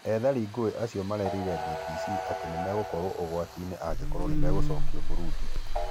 Ethari ngũĩ acio marerire BBC atĩ megũkorwo ũgwatinĩ angĩkorwo nĩmegũcokio Burundi